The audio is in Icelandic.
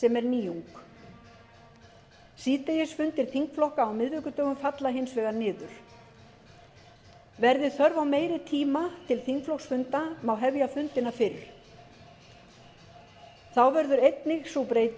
nýjung síðdegisfundir þingflokka á miðvikudögum falla hins vegar niður verði þörf á meiri tíma til þingflokksfunda má hefja fundina fyrr þá verður einnig sú